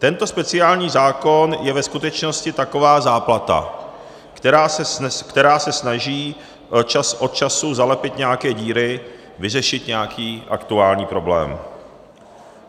Tento speciální zákon je ve skutečnosti taková záplata, která se snaží čas od času zalepit nějaké díry, vyřešit nějaký aktuální problém.